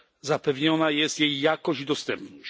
Zapewniona jest jej jakość i dostępność.